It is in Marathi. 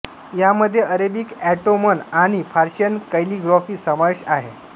यामधे अरेबिक ऑट्टोमन आणि पर्शियन कैलिग्राफी समावेश आहे